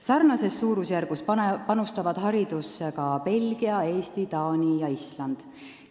Sarnases suurusjärgus panustavad haridusse ka Belgia, Eesti, Taani ja Island.